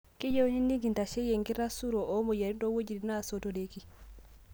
Keyieuni nikindasheyie ingitasoro oomoyiaritin toowetin naasotoreki